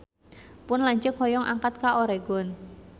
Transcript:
Pun lanceuk hoyong angkat ka Oregon